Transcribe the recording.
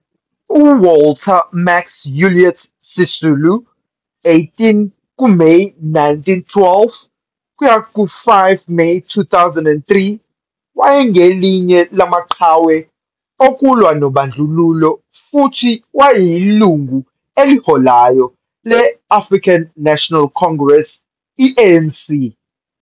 UWalter Max Ulyate Sisulu, 18 kuMeyi 1912 - 5 kuMeyi 2003, wayengelinye lamaqhawe okulwa nobandlululo futhi wayeyilungu eliholayo le-African National Congress, iANC.